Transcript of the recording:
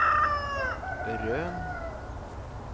Røn